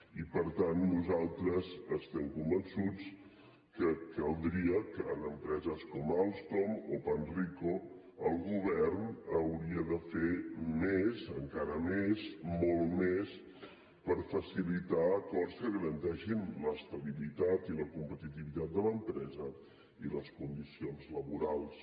i per tant nosaltres estem convençuts que caldria que en empreses com alstom o panrico el govern hauria de fer més encara més molt més per facilitar acords que garanteixin l’estabilitat i la competitivitat de l’empresa i les condicions laborals